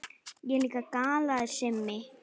Ég líka galaði Simmi.